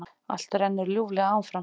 Allt rennur ljúflega áfram.